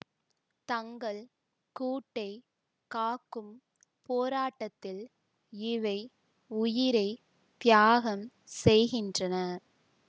தங்கள் கூட்டைக் காக்கும் போராட்டத்தில் இவை உயிரை தியாகம் செய்கின்றன